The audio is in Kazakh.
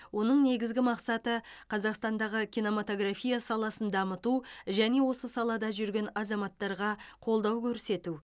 оның негізгі мақсаты қазақстандағы кинематография саласын дамыту және осы салада жүрген азаматтарға қолдау көрсету